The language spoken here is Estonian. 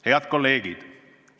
Head kolleegid!